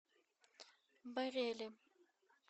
барели